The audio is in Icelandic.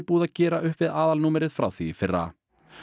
búið að gera upp við aðalnúmerið frá því í fyrra